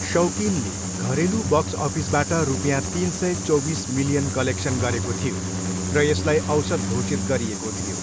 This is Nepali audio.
शौकिनले घरेलु बक्स अफिसबाट रुपियाँ तिन सय चौबिस मिलियन कलेक्सन गरेको थियो र यसलाई औसत घोषित गरिएको थियो।